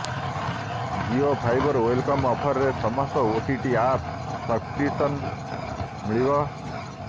Jio fibre welcome ଅଫରରେ ସମସ୍ତ OTT app subscription ମିଳିବ